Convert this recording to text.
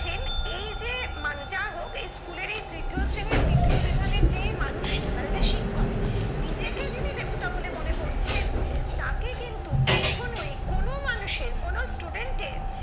এই যে মানে যাই হোক স্কুলের এই তৃতীয় শ্রেণীর দ্বিতীয় বিভাগের যে মানুষগুলো মানে যে শিক্ষক নিজেকে যিনি দেবতা বলে মনে করছেন তাকে কিন্তু কখনোই কোন মানুষের কোন student এর